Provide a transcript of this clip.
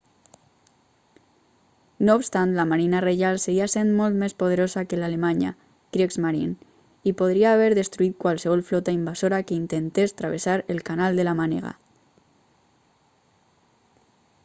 no obstant la marina reial seguia sent molt més poderosa que l'alemanya kriegsmarine i podria haver destruït qualsevol flota invasora que intentés travessar el canal de la mànega